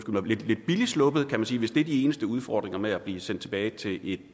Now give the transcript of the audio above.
mig lidt billigt sluppet kan man sige hvis det er de eneste udfordringer med at blive sendt tilbage til et